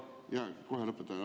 Jaa, kohe lõpetan.